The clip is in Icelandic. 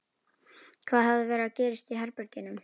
Hvað hafði verið að gerast í herberginu?